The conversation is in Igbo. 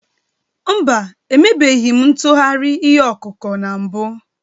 Mba, emebeghị m ntụgharị ihe ọkụkụ na mbụ